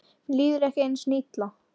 Mér líður ekki einu sinni illa.